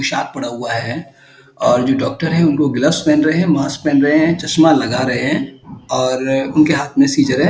पोशाक पड़ा हुआ है और जो डॉक्टर है उनको ग्लव्स पहन रहे हैं। मास्क पहन रहे हैं। चश्मा लगा रहे हैं और उनके हाथ में सीज़र है।